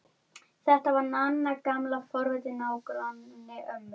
Ef þú þorir!